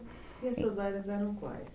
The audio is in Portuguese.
E essas áreas eram quais?